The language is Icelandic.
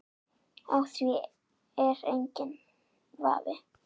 Á því er enginn vafi.